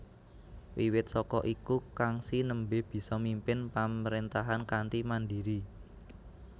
Wiwit saka iku Kangxi nembe bisa mimpin pamrentahan kanthi mandiri